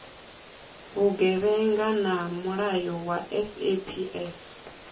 vhugevhenga na mulayo wa saps